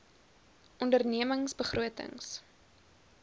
onderne mings begrotings